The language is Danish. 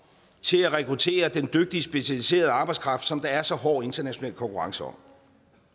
til at rekruttere den dygtige specialiserede arbejdskraft som der er så hård international konkurrence om